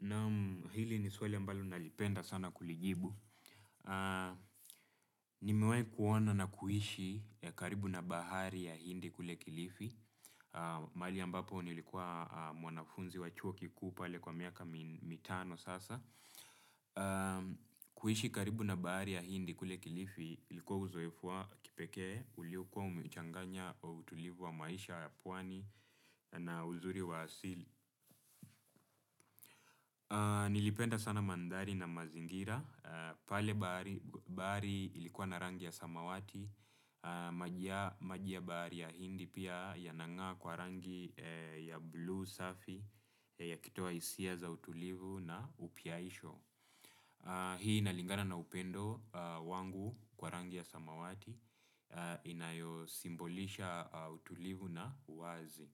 Naam hili ni swali ambalo nalipenda sana kulijibu. Nimewai kuona na kuishi ya karibu na bahari ya hindi kule kilifi. Mahali ambapo nilikua mwanafunzi wa chuo kikuu pale kwa miaka mitano sasa. Kuishi karibu na bahari ya hindi kule kilifi, ilikua uzoefu wa kipekee, uliokua umechanganya wa utulivu wa maisha ya pwani na uzuri wa asili. Nilipenda sana mandhari na mazingira. Pale bahari ilikua na rangi ya samawati, maji ya bahari ya hindi pia yanang'aa kwa rangi ya blue safi yakitoa isia za utulivu na upiaisho. Hii inalingana na upendo wangu kwa rangi ya samawati inayosimbolisha utulivu na wazi.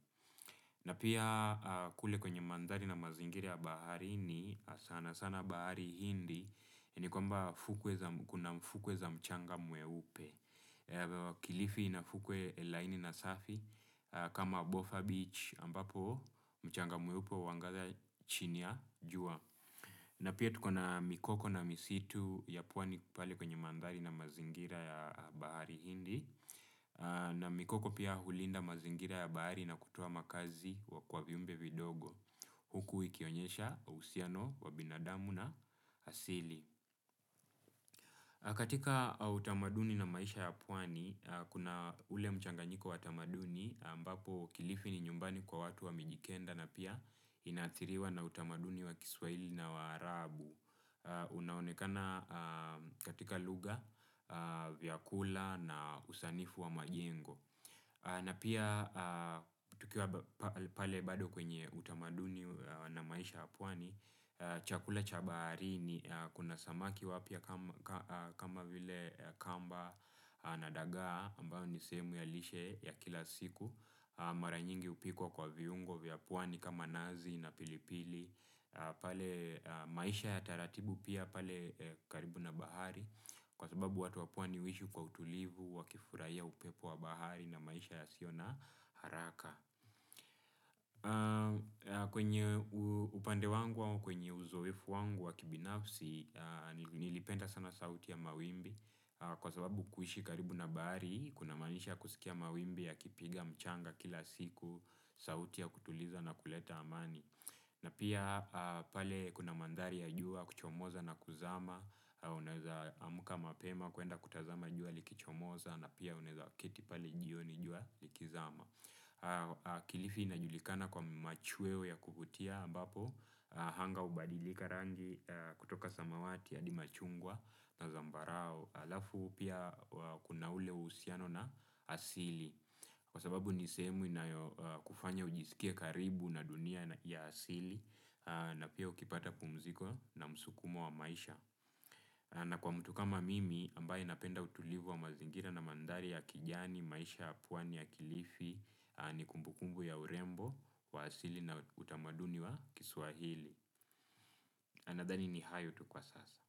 Na pia kule kwenye mandhari na mazingira ya baharini sana sana bahari hindi ni kwamba kuna mfukwe za mchanga mweupe. Kilifi ina fukwe laini na safi kama Bofa Beach ambapo mchanga mweupe uwanga chini ya jua. Na pia tuko na mikoko na misitu ya pwani pahali kwenye mandhari na mazingira ya bahari hindi. Na mikoko pia hulinda mazingira ya bahari na kutoa makazi wa kwa viumbe vidogo huku ikionyesha uhusiano wa binadamu na asili. Katika utamaduni na maisha ya pwani, kuna ule mchanganyiko wa tamaduni ambapo kilifi ni nyumbani kwa watu wa mijikenda na pia inathiriwa na utamaduni wa kiswaili na wa arabu. Unaonekana katika lugha, vyakula na usanifu wa majengo. Na pia tukiwa pale bado kwenye utamaduni na maisha ya pwani, chakula cha baharini kuna samaki wapya kama vile kamba na dagaa, ambayo ni sehemu ya lishe ya kila siku, mara nyingi upikwa kwa viungo vya pwani kama nazi na pilipili. Pale maisha ya taratibu pia pale karibu na bahari kwa sababu watu wa pwani uishi kwa utulivu wakifuraia upepo wa bahari na maisha yasio na haraka kwenye upande wangu wangu au kwenye uzoefu wangu wa kibinafsi nilipenda sana sauti ya mawimbi kwa sababu kuishi karibu na bahari kunamaanisha kusikia mawimbi yakipiga mchanga kila siku sauti ya kutuliza na kuleta amani. Na pia pale kuna mandhari ya jua kuchomoza na kuzama, unaezaamka mapema kwenda kutazama jua likichomoza na pia unaeza keti pale jioni jua likizama. Kilifi inajulikana kwa machueo ya kuvutia ambapo, hanga hubadilika rangi kutoka samawati adi machungwa na zambarao. Alafu pia kuna ule uusiano na asili. Kwa sababu ni sehemu inayokufanya ujisikie karibu na dunia ya asili. Na pia ukipata pumziko na msukumo wa maisha. Na kwa mtu kama mimi ambaye napenda utulivu wa mazingira na mandhari ya kijani, maisha, ya pwani ya kilifi ni kumbukumbu ya urembo wa asili na utamaduni wa kiswahili ninadhani ni hayo tu kwa sasa.